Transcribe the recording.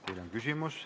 Teile on küsimusi.